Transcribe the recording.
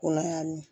Ko la y'a min